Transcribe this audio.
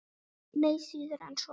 Nei, síður en svo.